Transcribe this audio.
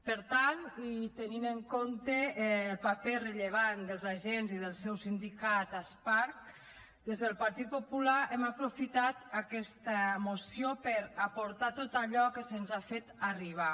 per tant i tenint en compte el paper rellevant dels agents i del seu sindicat asparc des del partit popular hem aprofitat aquesta moció per aportar tot allò que se’ns ha fet arribar